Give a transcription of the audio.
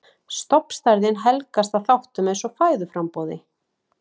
Stofnstærðin helgast að þáttum eins og fæðuframboði.